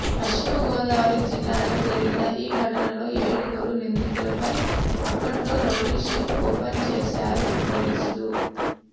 పశ్చిమగోదావరి జిల్లాలో జరిగిన ఈ ఘటనలో ఏడుగురు నిందితులపై అప్పట్లో రౌడీషీట్ ఓపెన్ చేశారు పోలీసులు